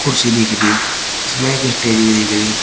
कुर्सी दिख रही इसमें एक स्टेज भी दिख रही--